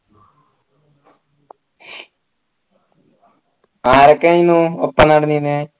ആരൊക്കെയെന്ന് ഒപ്പം നടന്നീനെ